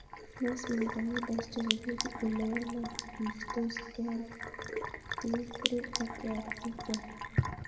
Meesmann corneal dystrophy koipu ole walakistos KRT3 ak KRT12 .